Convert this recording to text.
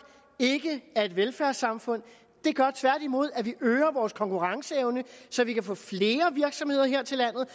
ikke er et velfærdssamfund det gør tværtimod at vi øger vores konkurrenceevne så vi kan få flere virksomheder her til landet